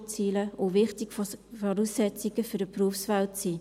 Das können wichtige Voraussetzungen für die Berufswelt sein.